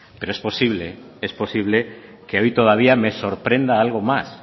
pero es posible que a mí todavía me sorprenda algo más